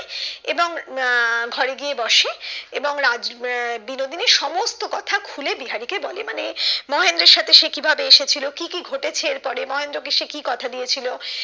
এবং আহ ঘরে গিয়ে বসে এবং রাজ্ আহ বিনোদিনী সমস্ত কথা খুলে বিহারি কে বলে মানে মহেন্দ্রের সাথে সে কি ভাবে এসে ছিল কি কি ঘটেছে এরপরে মহেন্দ্র কে সে কি কথা দিয়ে ছিল